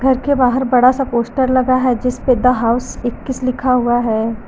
उसके बाहर बड़ा सा पोस्टर लगा है जिसपे द हाउस इक्कीस लिखा हुआ है।